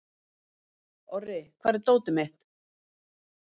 Orri, hvar er dótið mitt?